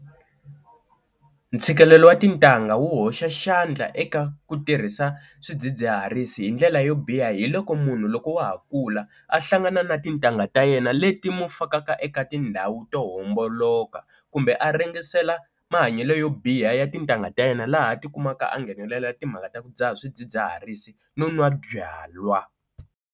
Ntshikelelo wa tintangha wu hoxa xandla eka ku tirhisa swidzidziharisi hi ndlela yo biha, hiloko munhu loko wa ha kula a hlangana na tintangha ta yena leti mu fakaka eka tindhawu to homboloka kumbe a ringesela mahanyelo yo biha ya tintangha ta yena laha a tikumaka a nghenelela timhaka ta ku dzaha swidzidziharisi no nwa byalwa.